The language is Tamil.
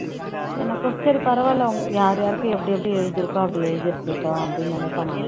எனக்கும் சரி பரவாயில்லை உங் யார் யாருக்கு எப்படி எப்படி எழுதி இருக்கோ அப்படி எழுதி இருக்கட்டும் அப்படின்னு நினைப்பேன் நானு